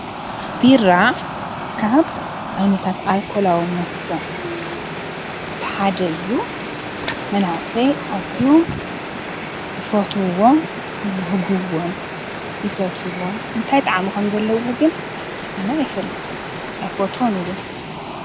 ቢራ ካብ ዓይነታት ኣልኮላዊ መስተ እቲ ሓደ እዩ። መናእሰይ ኣዝዮም ይፈትዉዎ ይብህግዎን ይሰትይዎን፡፡ እንታይ ጣዕሚ ከም ዘለዎ ግን ኣነ እይፈልጥን። ኣይፈትዎን እዉን፡፡